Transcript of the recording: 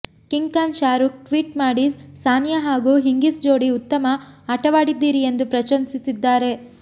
king Khan Shahrukh tweet ಮಾಡಿ ಸಾನಿಯಾ ಹಾಗೂ Hingis ಜೋಡಿ ಉತ್ತಮ ಆಟವಾಡಿದ್ದೀರಿ ಎಂದು ಪ್ರಶಂಸಿಸಿದ್ದಾರೆ